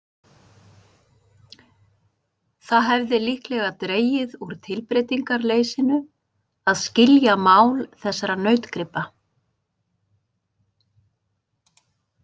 Það hefði líklega dregið úr tilbreytingarleysinu að skilja mál þessara nautgripa.